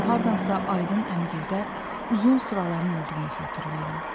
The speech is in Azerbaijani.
Mən hardansa Aydın əmigildə uzun sıraların olduğunu xatırlayıram.